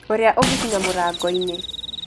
ũrĩa ũngĩkinya mũrango-inĩ